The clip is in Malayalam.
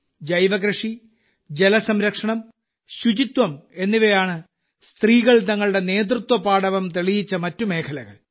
ജൈവകൃഷി ജലസംരക്ഷണം ശുചിത്വം എന്നിവയാണ് സ്ത്രീകൾ തങ്ങളുടെ നേതൃത്വപാടവം തെളിയിച്ച മറ്റ് മേഖലകൾ